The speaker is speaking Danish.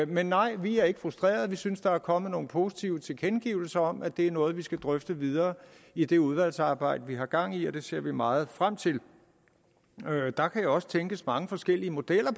men nej vi er ikke frustrerede vi synes der er kommet nogle positive tilkendegivelser om at det er noget vi skal drøfte videre i det udvalgsarbejde vi har gang i og det ser vi meget frem til der kan jo også tænkes mange forskellige modeller